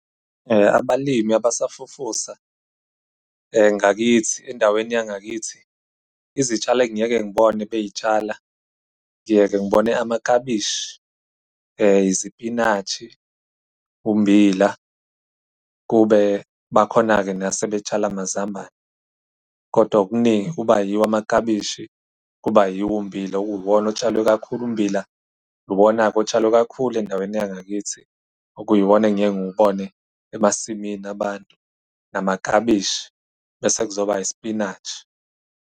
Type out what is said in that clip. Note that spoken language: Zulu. Abalimi abasafufusa ngakithi, endaweni yangakithi izitshalo engiye-ke ngibone bey'tshala, ngiye-ke ngibone amaklabishi, izipinatshi, ummbila, kube bakhona-ke nase betshala amazambane. Kodwa okuningi kuba yiwo amaklabishi, kuba yiwo ummbila okuwuwona otshalwe kakhulu. Ummbila uwona-ke otshalwe kakhulu endaweni yangakithi, okuyiwona engiye ngiwubone emasimini abantu, namaklabishi bese kuzoba isipinatshi.